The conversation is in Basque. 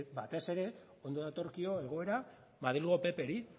batez ere ondo datorkio egoera madrilgo ppri